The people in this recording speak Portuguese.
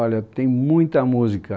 Olha, tem muita música.